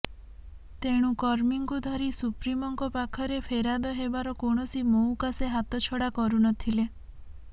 ତେଣୁ କର୍ମୀଙ୍କୁ ଧରି ସୁପ୍ରିମୋଙ୍କ ପାଖରେ ଫେରାଦ ହେବାର କୌଣସି ମଉକା ସେ ହାତଛଡ଼ା କରୁ ନଥିଲେ